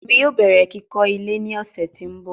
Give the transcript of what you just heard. Emi yoo bẹrẹ kikọ ile ni ọsẹ ti n bọ